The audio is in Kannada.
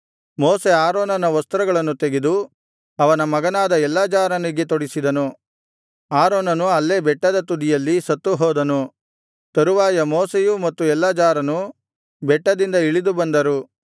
ಮೋಶೆ ಆರೋನನ ವಸ್ತ್ರಗಳನ್ನು ತೆಗೆದು ಅವನ ಮಗನಾದ ಎಲ್ಲಾಜಾರನಿಗೆ ತೊಡಿಸಿದನು ಆರೋನನು ಅಲ್ಲೇ ಬೆಟ್ಟದ ತುದಿಯಲ್ಲಿ ಸತ್ತುಹೋದನು ತರುವಾಯ ಮೋಶೆಯೂ ಮತ್ತು ಎಲ್ಲಾಜಾರನೂ ಬೆಟ್ಟದಿಂದ ಇಳಿದು ಬಂದರು